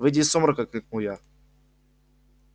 выйди из сумрака крикнул я